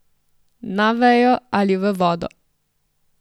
Na vejo ali v vodo?